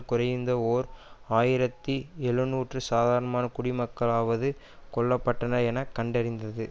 குறைந்த ஓர் ஆயிரத்தி எழுநூற்று சாதாரண குடிமக்களாவது கொல்ல பட்டனர் என கண்டறிந்தது